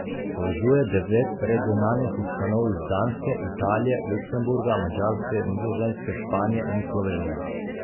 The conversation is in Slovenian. Povezuje devet regionalnih ustanov iz Danske, Italije, Luksemburga, Madžarske, Nizozemske, Španije in Slovenije.